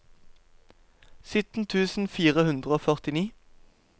sytten tusen fire hundre og førtini